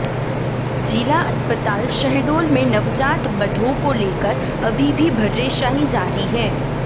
जिला अस्पताल शहडोल में नवजात बधाों को लेकर अभी भी भर्रेशाही जारी है